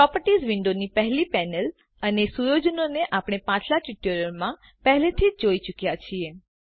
properties વિન્ડોની પહેલી panel અને સુયોજનોને આપણે પાછલા ટ્યુટોરીયલમાં પહેલાથી જ જોઈ ચુક્યા છીએ